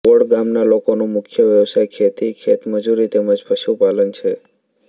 odd ગામના લોકોનો મુખ્ય વ્યવસાય ખેતી ખેતમજૂરી તેમ જ પશુપાલન છે